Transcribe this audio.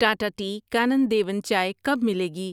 Tata tea Kanan Devan چائے کب ملے گی؟